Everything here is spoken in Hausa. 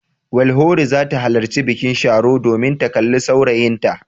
Welhore za ta halarci bikin Sharo domin ta kalli saurayinta.